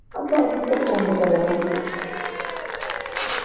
ਅੱਛਾ ਤੁਸੀਂ ਤਾ ਕੁੰਬਕਰਨ ਆ ਤੇ